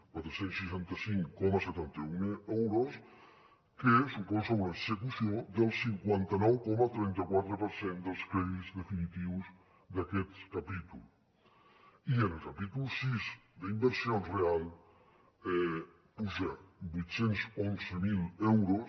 quatre cents i seixanta cinc coma setanta un euros que suposa una execució del cinquanta nou coma trenta quatre per cent dels crèdits definitius d’aquest capítol i en el capítol sis d’inversions reals puja vuit cents i onze mil euros